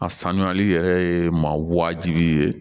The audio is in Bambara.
A sanuyali yɛrɛ ye maa wajibi ye